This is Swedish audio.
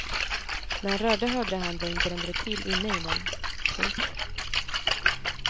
När han rörde högra handen brände det till inne i den. punkt